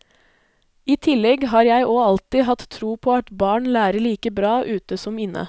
I tillegg har jeg og alltid hatt tro på at barn lærer like bra ute som inne.